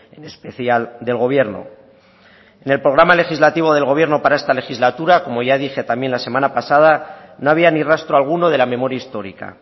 en especial del gobierno en el programa legislativo del gobierno para esta legislatura como ya dije también la semana pasada no había ni rastro alguno de la memoria histórica